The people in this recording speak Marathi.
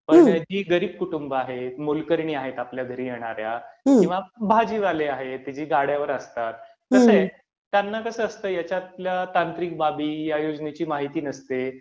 कसंय, जी गरीब कुटुंबे आहेत, मोलकरणी आहेत आपल्या घरी येणाऱ्या, किंवा भाजीवाले आहेत, जे गाड्यावर असतात, कसंय, त्यांना कसं असतं ह्याच्यातल्या तांत्रिक बाबी, ह्या योजनेची माहिती नसते.